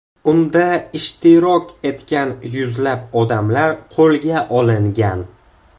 Unda ishtirok etgan yuzlab odamlar qo‘lga olingan.